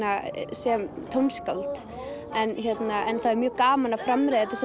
sem tónskáld en það er mjög gaman að framreiða þetta